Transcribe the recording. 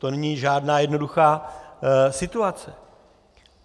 To není žádná jednoduchá situace.